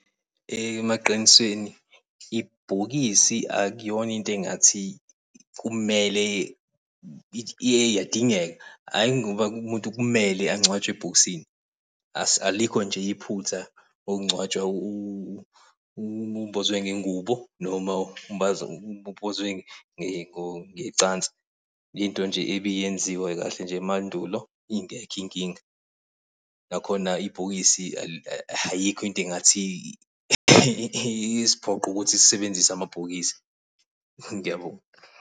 Emaqinisweni ibhokisi akuyona into engathi kumele iyadingeka hhayi ngoba umuntu kumele angcwatshwe ebhokisini. Alikho nje iphutha kokungcwatshwa umbozwe ngengubo noma umbozwe ngecansi. Into nje ebiyenziwa kahle nje emandulo ingekho inkinga nakhona ibhokisi ayikho into engathi iyisiphoqo ukuthi sisebenzise amabhokisi. Ngiyabonga.